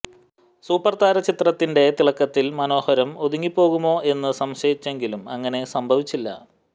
സൂപ്പർതാര ചിത്രത്തിന്റെ തിളക്കത്തിൽ മനോഹരം ഒതുങ്ങിപ്പോകുമോ എന്ന് സംശയിച്ചെങ്കിലും അങ്ങനെ സംഭവിച്ചില്ല